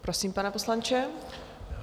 Prosím, pane poslanče.